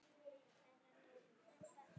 Örn var utan við sig.